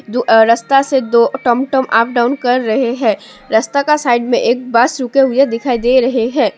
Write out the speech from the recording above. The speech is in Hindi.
दो अ रस्ता से दो टम टम अप डाउन कर रहे है रास्ता के साइड में एक बस रुके हुए दिखाई दे रहे है।